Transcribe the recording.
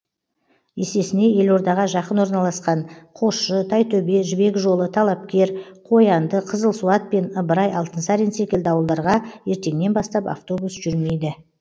есесіне елордаға жақын орналасқан қосшы тайтөбе жібек жолы талапкер қоянды қызылсуат пен ыбырай алтынсарин секілді ауылдарға ертеңнен бастап автобус жүрмейді